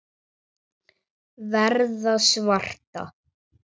Verða svarta.